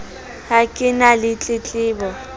ha ke na le tletlebo